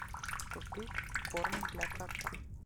купить корм для кота